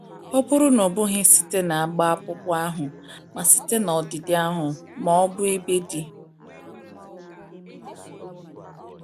Ọ bụrụ na ọ bụghị site na agba akpụkpọ ahụ, ma site na ọdịdị ahụ, ma ọ bụ ebe dị.